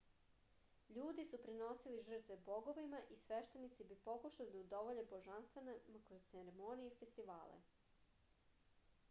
ljudi su prinosili žrtve bogovima i sveštenici bi pokušali da udovolje božanstvima kroz ceremonije i festivale